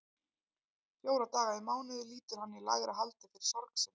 Fjóra daga í mánuði lýtur hann í lægra haldi fyrir sorg sinni.